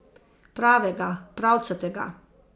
Pravega, pravcatega.